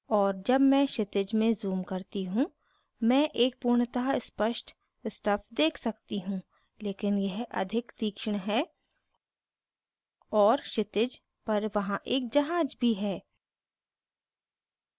और जब मैं क्षितिज में zoom करती हूँ मैं एक पूर्णतः स्पष्ट stuff देख सकती हूँ लेकिन यह अधिक तीक्ष्ण है और क्षितिज पर वहाँ एक जहाज भी है